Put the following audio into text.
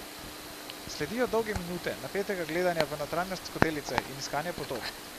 Sledijo dolge minute napetega gledanja v notranjost skodelice in iskanja podob.